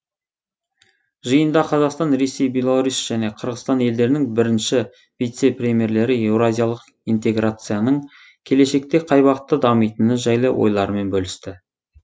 жиында қазақстан ресей беларусь және қырғызстан елдерінің бірінші вице премьерлері еуразиялық интеграцияның келешекте қай бағытта дамитыны жайлы ойларымен бөлісті